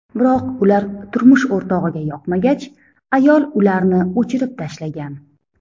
Biroq ular turmush o‘rtog‘iga yoqmagach, ayol ularni o‘chirib tashlagan.